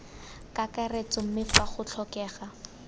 kakaretso mme fa go tlhokega